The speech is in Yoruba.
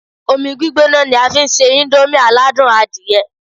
Omi gbígbóná ni a fi ń se íńdómì aládùn adìyẹ